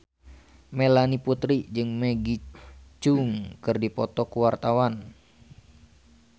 Melanie Putri jeung Maggie Cheung keur dipoto ku wartawan